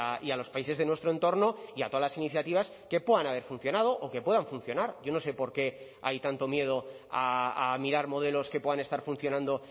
y a los países de nuestro entorno y a todas las iniciativas que puedan haber funcionado o que puedan funcionar yo no sé por qué hay tanto miedo a mirar modelos que puedan estar funcionando